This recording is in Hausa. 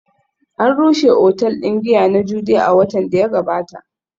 An rushe otal din giya na Jude a watan da ya gabata